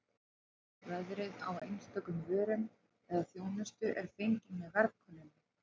Verðið á einstökum vörum eða þjónustu er fengið með verðkönnunum.